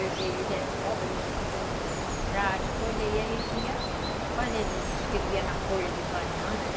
Eles eram pobres, não podiam comprar as coisas, e a gente ia fazer, escrevia na folha de banana, né?